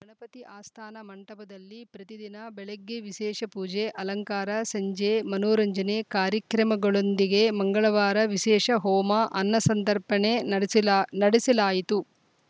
ಗಣಪತಿ ಆಸ್ಥಾನ ಮಂಟಪದಲ್ಲಿ ಪ್ರತಿದಿನ ಬೆಳಗ್ಗೆ ವಿಶೇಷ ಪೂಜೆ ಅಲಂಕಾರ ಸಂಜೆ ಮನೋರಂಜನೆ ಕಾರ್ಯಕ್ರಮಗಳೊಂದಿಗೆ ಮಂಗಳವಾರ ವಿಶೇಷ ಹೋಮ ಅನ್ನ ಸಂತರ್ಪಣೆ ನಡೆಸ ನಡೆಸಲಾಯಿತು